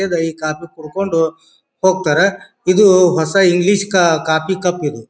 ಕೇಂದ್ ಈ ಕಾಫಿ ಕುಡಕೊಂಡು ಹೋಗತ್ತರ. ಇದು ಹೊಸ ಇಂಗ್ಲಿಷ್ ಕಾ ಕಾಫಿ ಕಪ್ ಇದು.